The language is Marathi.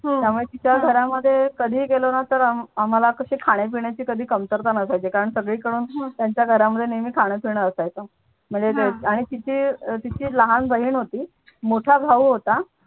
त्यामुळे तिच्या घरामध्ये कधी गेलो ना आम्हाला कशी खाण्यापिण्या ची कमतरता नसायची कारण का सगळीकडनं तिच्या घरामध्ये खाण्यापिण असायचं म्हणजे आणि तिची लहान बहिण होती मोठ्या भाऊ होता.